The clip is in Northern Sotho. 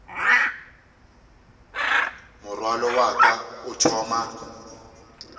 morwalo wa ka o thoma